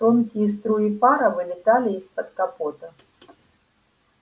тонкие струи пара вылетали из-под капота